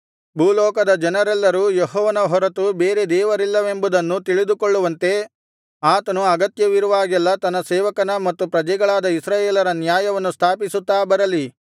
ಭೂಲೋಕದ ಜನರೆಲ್ಲರೂ ಯೆಹೋವನ ಹೊರತು ಬೇರೆ ದೇವರಿಲ್ಲವೆಂಬುದನ್ನು ತಿಳಿದುಕೊಳ್ಳುವಂತೆ ಆತನು ಅಗತ್ಯವಿರುವಾಗೆಲ್ಲಾ ತನ್ನ ಸೇವಕನ ಮತ್ತು ಪ್ರಜೆಗಳಾದ ಇಸ್ರಾಯೇಲರ ನ್ಯಾಯವನ್ನು ಸ್ಥಾಪಿಸುತ್ತಾ ಬರಲಿ